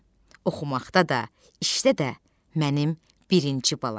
Oxumaqda da, işdə də mənim birinci balam.